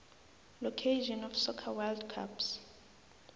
location of soccer world cups